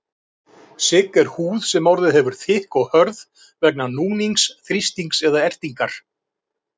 Sigg er húð sem orðið hefur þykk og hörð vegna núnings, þrýstings eða ertingar.